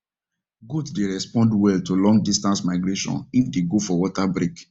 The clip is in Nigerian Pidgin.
goat dey respond well to long distance migration if they dey go for water break